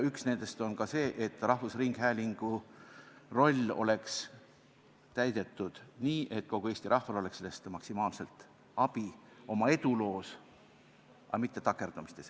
Üks nendest on see, et rahvusringhäälingu rolli täidetaks nii, et kogu Eesti rahval oleks sellest maksimaalselt abi oma eduloos, aga mitte takerdumises.